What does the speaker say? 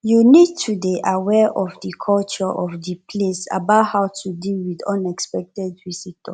you need to dey aware of di culture of di place about how to deal with unexpected visitor